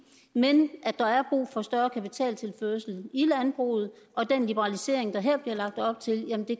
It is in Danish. men at der er brug for større kapitaltilførsel i landbruget og den liberalisering der her bliver lagt op til